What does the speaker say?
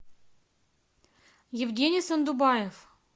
евгений сандубаев